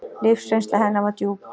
Lífsreynsla hennar var djúp.